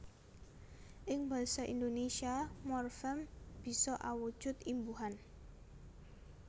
Ing basa Indonésia morfem bisa awujud imbuhan